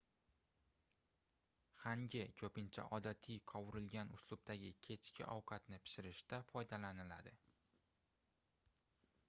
hangi koʻpincha odatiy qovurilgan uslubdagi kechki ovqatni pishirishda foydalaniladi